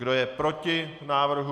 Kdo je proti návrhu?